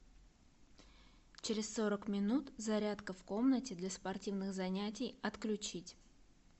через сорок минут зарядка в комнате для спортивных занятий отключить